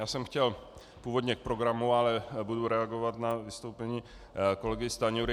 Já jsem chtěl původně k programu, ale budu reagovat na vystoupení kolegy Stanjury.